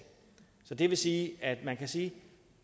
så det vil sige at man kan sige